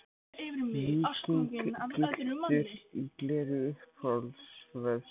Víking gylltur í gleri Uppáhalds vefsíða?